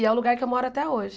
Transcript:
E é o lugar que eu moro até hoje.